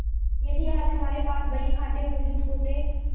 यदि आज हमारे पास बहीखाते मौजूद होते